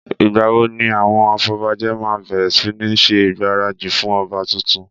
Ìgbà wo ni àwọn afọbajẹ́ máa bẹ̀rẹ̀ sí ní ṣe ìgbáradì fún ọba tuntun?